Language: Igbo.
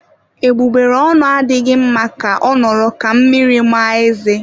Egbugbereonu adịghị mma ka ọ nọrọ ka mmiri ma ezé.